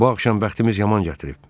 Bu axşam bəxtimiz yaman gətirib.